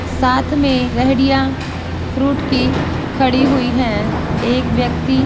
साथ में लेहरिया फ्रूट की खड़ी हुई है एक व्यक्ति साथ में--